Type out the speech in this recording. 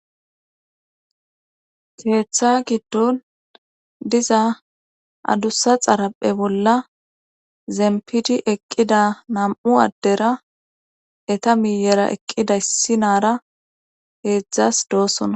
Keetha giddon diza adussa xaraphe bolla zempidi eqqida nam'u addera eta miyera eqqida issi naara heedzdzas doossonna.